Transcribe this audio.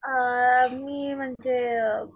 अ मी म्हणजे,